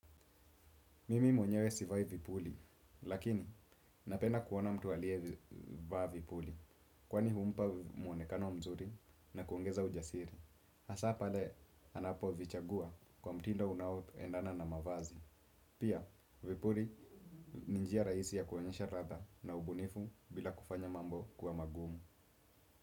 Mimi mwenyewe sivai vipuli, lakini napenda kuona mtu aliyevaa vipuli kwani humpa muonekano mzuri na kuongeza ujasiri. Hasa pale anapovichagua kwa mtindo unaoendana na mavazi. Pia vipuli ni njia rahisi ya kuonyesha ladha na ubunifu bila kufanya mambo kuwa magumu.